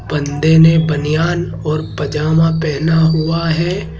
बंदे ने बनियान और पजामा पहे ना हुआ है।